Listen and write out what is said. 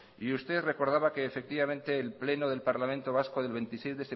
y usted recordaba que el pleno del parlamento vasco del veintiséis